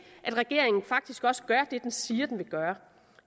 at regeringen faktisk også gør det den siger at den vil gøre